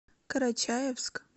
карачаевск